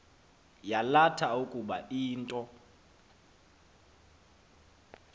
yalatha ukuba into